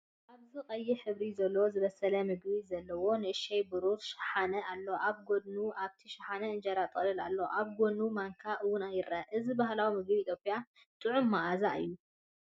ኣብዚ ቀይሕ ሕብሪ ዘለዎ ዝበሰለ ምግቢ ዘለዎ ንእሽቶ ብሩር ሸሓነ ኣሎ። ኣብ ጎድኑ፡ ኣብቲ ሻሓነ እንጀራ ጥቕላል ኣሎ። ኣብ ጎድኑ ማንካ እውን ይርአ። እዚ ባህላዊ ምግቢ ኢትዮጵያ ጥዑምን መኣዛውን እዩ።